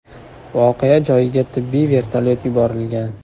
Voqea joyiga tibbiy vertolyot yuborilgan.